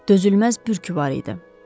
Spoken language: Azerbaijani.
Dözülməz bürküsü var idi.